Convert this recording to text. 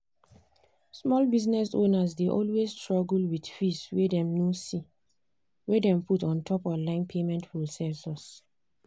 small business owners dey always struggle with fees wey dem no see wey dem put untop online payment processors.